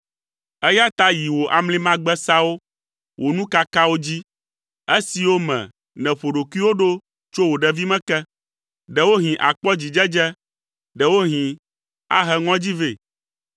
“Eya ta yi wò amlimagbesawo, wò nukakawo dzi, esiwo me nèƒo ɖokuiwò ɖo tso wò ɖevime ke. Ɖewohĩ akpɔ dzidzedze, ɖewohĩ ahe ŋɔdzi vɛ.